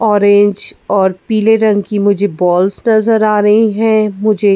orange और पीले रंग की मुझे बॉल्स नजर आ रही हैं मुझे--